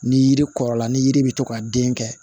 Ni yiri kɔrɔla ni yiri bɛ to ka den kɛ